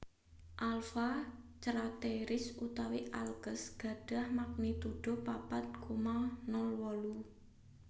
Alpha Crateris utawi Alkes gadhah magnitudo papat koma nol wolu